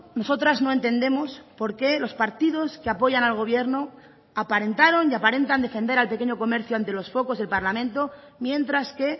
nosotras no entendemos por qué los partidos que apoyan al gobierno aparentaron y aparentan defender al pequeño comercio ante los focos del parlamento mientras que